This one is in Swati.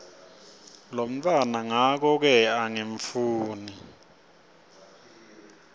lomntfwana ngakoke angifuni